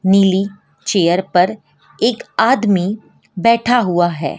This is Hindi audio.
नीली चेयर पर एक आदमी बैठा हुआ है।